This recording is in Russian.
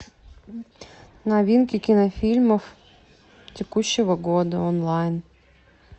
новинки кинофильмов текущего года онлайн